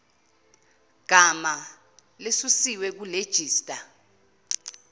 gama lesusiwe kulejista